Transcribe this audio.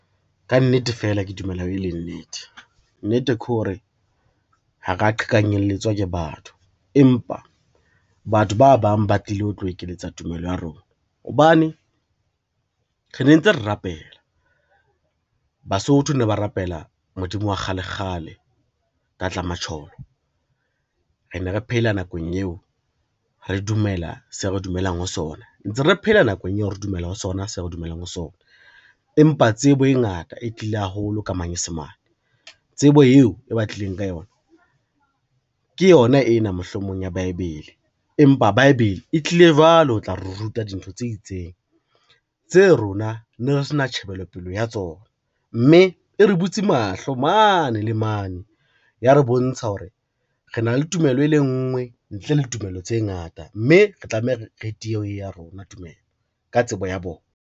Ka nnete fela ke dumela e le nnete, nnete kore ha ra qhekanyeletswa ke batho, empa batho ba bang ba tlile ho tlo ekeletsa tumelo ya rona. Hobane re ne ntse re rapela, Basotho ne ba rapela Modimo wa kgale kgale, tlatla matjholo re ne re phela nakong eo re dumela se re dumelang ho sona ntse re phela nakong eo re dumela ho sona se re dumelang ho sona, empa tsebo e ngata e tlile haholo ka Manyesemane. Tsebo eo e ba tlileng ka yona ke yona ena mohlomong ya Baebele, empa Baebele e tlile jwale ho tla ruta dintho tse itseng tse rona ne re se na tjhebelopele ya tsona, mme e re butse mahlo mane le mane, ya re bontsha hore re na le tumelo e le nngwe ntle le tumello tse ngata, mme re tlameha re tie ho ya rona tumelo ka tsebo ya bona.